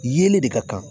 Yelen de ka kan